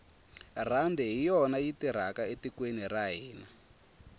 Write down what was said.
rhandi hi yona yi tirhaka etikweni ra hina